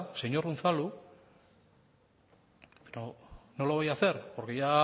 señor unzalu y no lo voy a hacer porque ya